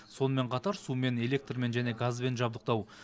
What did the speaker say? сонымен қатар сумен электрмен және газбен жабдықтау